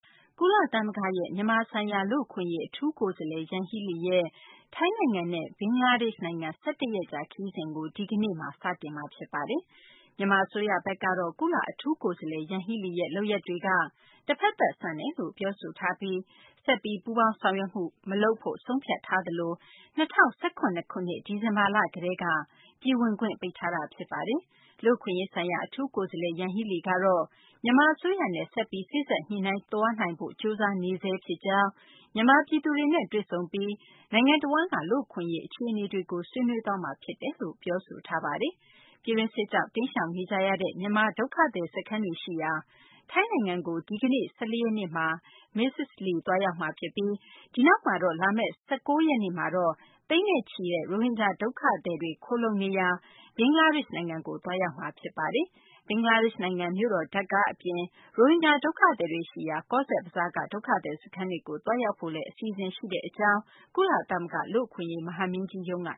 ကုလသမဂ္ဂရဲ့ မြန်မာဆိုင်ရာ လူ့အခွင့်အရေး အထူးကိုယ်စားလှယ် ယန်ဟီးလီရဲ့ ထိုင်းနိုင်ငံနဲ့ ဘင်္ဂလားဒေရှ့် နိုင်ငံ ၁၁ ရက်ကြာ ခရီးစဉ်ကို ဒီကနေ့ ဇန်နဝါရီလ ၁၄ ရက်နေ့ တနလာၤနေ့မှာ စတင်မှာ ဖြစ်ပါတယ်။ မြန်မာ အစိုးရဘက်ကတော့ ကုလ အထူးကိုယ်စားလှယ် ယန်ဟီးလီရဲ့ လုပ်ရပ်တွေက တဖက်သတ် ဆန်တယ်လို့ ပြောဆိုထားပြီး ဆက်ပြီး ပူးပေါင်းဆောင်ရွက်မှု မလုပ်ဖို့ ဆုံးဖြတ်ထားသလို ၂၀၁၇ ခုနှစ် ဒီဇင်ဘာလ ကတည်းက ပြည်ဝင်ခွင့် ပိတ်ထားတာ ဖြစ်ပါတယ်။ လူ့အခွင့်အရေးဆိုင်ရာ အထူးကိုယ်စားလှယ် ယန်ဟီလီကတော့ မြန်မာ အစိုးရနဲ့ ဆက်ပြီး စေ့စပ်ညှိနှိုင်းသွားနိုင်ဖို့ ကြိုးစားနေဆဲ ဖြစ်ကြောင်း၊ မြန်မာ ပြည်သူတွေနဲ့ တွေ့ဆုံပြီး နိုင်ငံတဝန်းက လူ့အခွင့်အရေး အခြေအနေတွေကို ဆွေးနွေးသွားမှာ ဖြစ်တယ်လို့ ပြောဆိုထားပါတယ်။ ပြည်တွင်းစစ်ကြောင့် တိမ်းရှောင်နေကြရတဲ့ မြန်မာ ဒုက္ခသည် စခန်းတွေ ရှိရာ ထိုင်းနိုင်ငံကို ဒီကနေ့ ၁၄ ရက်နေ့မှာ မစ္စ လီ သွားရောက်မှာ ဖြစ်ပြီး ဒီနောက်မှာတော့ လာမယ့် ၁၉ ရက်နေ့မှာတော့ သိန်းနဲ့ချီတဲ့ ရိုဟင်ဂျာ ဒုက္ခသည်တွေ ခိုလှုံနေရာ ဘင်္ဂလားဒေရှ့် နိုင်ငံကို သွားရောက်မှာ ဖြစ်ပါတယ်။ ဘင်္ဂလားဒေရှ့် နိုင်ငံ မြို့တော် ဒါကာ အပြင် ရိုဟင်ဂျာ ဒုက္ခသည်တွေ ရှိရာ ကောဇ့်ဘဇားက ဒုက္ခသည် စခန်းတွေကို သွားရောက်ဖို့လည်း အစီအစဉ်ရှိကြောင်း ကုလသမဂ္ဂ လူ့အခွင့်အရေး မဟာမင်းကြီးရုံး က